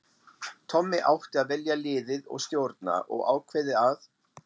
Tommi átti að velja liðið og stjórna og ákveðið að